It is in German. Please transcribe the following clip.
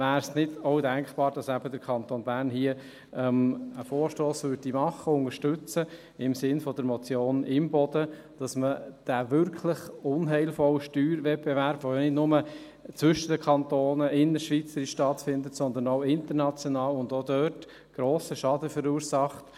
Wäre es nicht auch denkbar, dass eben der Kanton Bern hier im Grossen Rat einen Vorstoss im Sinne der Motion Imboden machen und unterstützen würde, sodass man diesen wirklich unheilvollen Steuerwettbewerb, der nicht nur zwischen Kantonen – innerschweizerisch – stattfindet, sondern auch international und auch dort grossen Schaden verursacht …